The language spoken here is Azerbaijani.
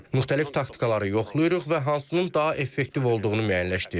Müxtəlif taktikaları yoxlayırıq və hansının daha effektiv olduğunu müəyyənləşdiririk.